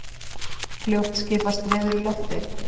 Fljótt skipast veður í lofti.